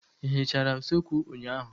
Ị hichara usekwu ụnyaahụ?